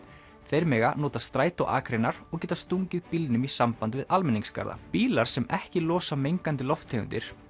þeir mega nota strætóakreinar og geta stungið bílnum í samband við almenningsgarða bílar sem ekki losa mengandi lofttegundir